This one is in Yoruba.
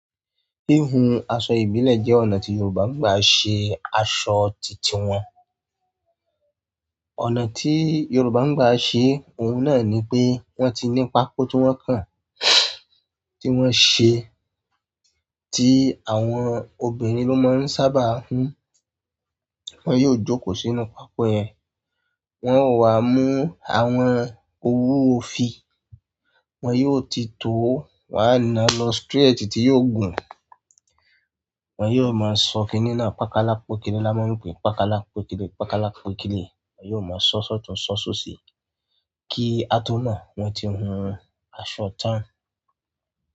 Híhun aṣọ ìbílẹ̀ jẹ́ ọ̀nà tí Yoruba ń gbà ṣe aṣọ títí wọn. Ọ̀nà tí Yoruba ń gbà ṣe òun náà ni pé wọ́n ti ní pákó tí wọ́n kan, tí wọ́n ṣe, tí àwọn ọbinrin ló máa ń sábà hun. Wọn yóò jókòó sínú pákó yẹn, wọn ó wá mú àwọn owú òfì, wọn yóò ti tó wá nà lọ straight tí yóò gùn. Wọn yóò máa sọ kini náà pákalápókílì, láma ń pè pákalápókílì, pákalápókílì. Wọn yóò máa sọ́ sọ́tùn sọ́ sọ́sí i kí á tó mọ̀ wọ́n ti hun aṣọ tán.